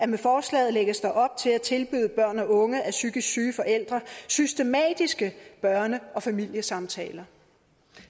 med forslaget lægges op til at tilbyde børn og unge af psykisk syge forældre systematiske børne og familiesamtaler